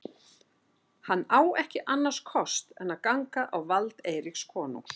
Hann á ekki annars kost en ganga á vald Eiríks konungs.